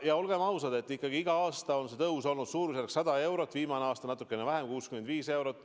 Ja olgem ausad, ikkagi iga aasta on see tõus olnud suurusjärgus 100 eurot, viimane aasta natukene vähem, 65 eurot.